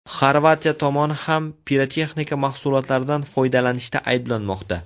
Xorvatiya tomoni ham pirotexnika mahsulotlaridan foydalanishda ayblanmoqda.